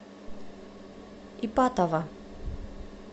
ипатово